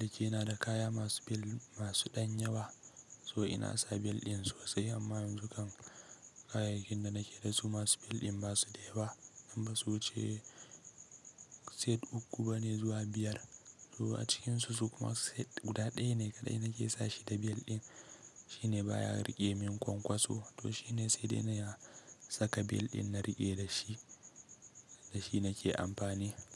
liki na da kaya masu bel masu ɗanya wa. So ina sa bel ɗin sosai amma yanzu kam kayayyakin da nake da su masu bel ɗin ba su da yawa. Nan ba su wuce set uku bane zuwa biyar. To a cikinsu su kuma set guda ɗaya ne kaɗai nake sa shi da bel ɗin. Shi ne baya riƙe min kwankwaso. To shi ne sedai yana saka bel ɗin na riƙe da shi, da shi nake amfani.